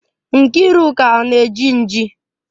Nkiruka ọ na-eji nji?